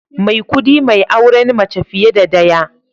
Maikudi mai auren mace fiye da daya